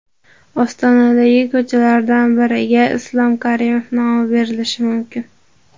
Ostonadagi ko‘chalardan biriga Islom Karimov nomi berilishi mumkin.